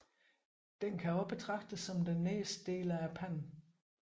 Den kan også betragtes som den nederste del af panden